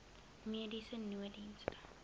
mediese nooddienste